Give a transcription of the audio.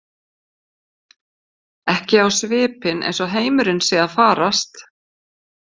Ekki á svipinn eins og heimurinn sé að farast.